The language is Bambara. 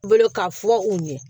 Bolo ka fɔ u ɲɛ